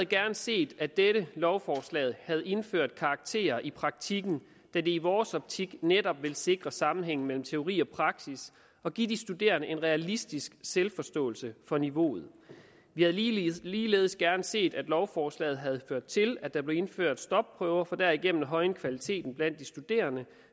gerne set at dette lovforslag havde indført karakterer i praktikken da det i vores optik netop vil sikre sammenhæng mellem teori og praksis og give de studerende en realistisk selvforståelse for niveauet vi havde ligeledes ligeledes gerne set at lovforslaget havde ført til at der blev indført stopprøver for derigennem at højne kvaliteten blandt de studerende